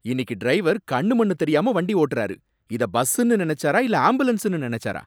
இன்னிக்கு டிரைவர் கண்ணு மண்ணு தெரியாம வண்டி ஓட்டுறாரு. இத பஸ்ஸுனு நினைச்சாரா இல்ல ஆம்புலன்ஸ்னு நினைச்சாரா?